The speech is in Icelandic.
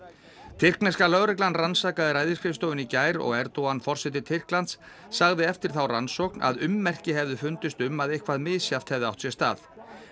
tyrkneska lögreglan rannsakaði ræðisskrifstofuna í gær og Erdogan forseti Tyrklands sagði eftir þá rannsókn að ummerki hefðu fundist um að eitthvað misjafnt hefði átt sér stað